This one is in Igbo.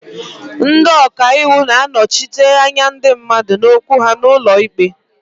Ndị ọka iwu na-anọchite anya ndị mmadụ na okwu ha n'ụlọ ikpe.